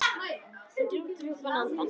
Ég dró djúpt inn andann.